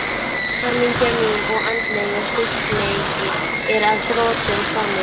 Hamingja mín og andlegur styrkleiki er að þrotum kominn.